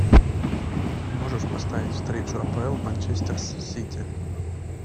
можешь поставить встречу апл манчестер с сити